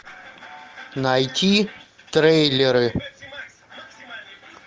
найти трейлеры